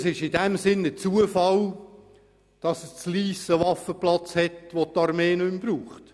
Es ist ein Zufall, dass Lyss einen Waffenplatz hat, den die Armee nicht mehr benötigt.